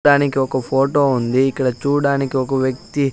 దానికి ఒక ఫోటో ఉంది ఇక్కడ చుడానికి ఒక వ్వక్తి--